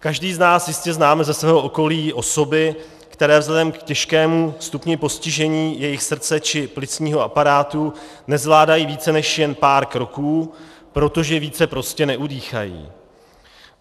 Každý z nás jistě známe ze svého okolí osoby, které vzhledem k těžkému stupni postižení jejich srdce či plicního aparátu nezvládají více než jen pár kroků, protože více prostě neudýchají.